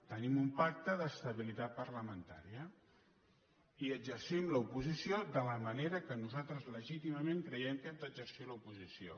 tenim un pacte d’estabilitat parlamentària i exercim l’oposició de la manera que nosaltres legítimament creiem que hem d’exercir l’oposició